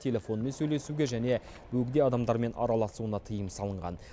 телефонмен сөйлесуге және бөгде адамдармен араласуына тыйым салынған